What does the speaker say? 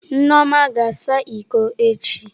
Nneoma ga-asa iko echi.